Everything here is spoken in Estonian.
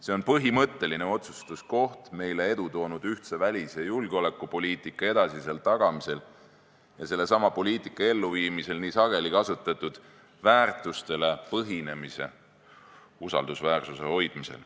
See on põhimõtteline otsustuskoht meile edu toonud ühtse välis- ja julgeolekupoliitika edasisel tagamisel ning selle poliitika elluviimisel nii sageli kasutatud väärtustele põhinemise usaldusväärsuse hoidmisel.